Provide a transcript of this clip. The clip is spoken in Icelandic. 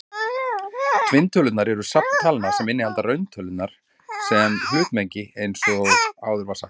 Tvinntölurnar eru safn talna sem inniheldur rauntölurnar sem hlutmengi eins og áður var sagt.